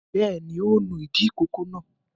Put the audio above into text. Bẹ́ẹ̀ ni, ó nu ìdí ìkókó náà.